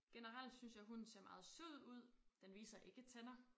Generelt synes jeg hunden ser meget sød ud den viser ikke tænder